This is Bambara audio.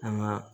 An ga